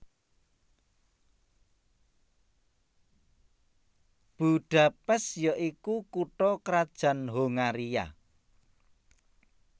Budapest ya iku kutha krajan Hongaria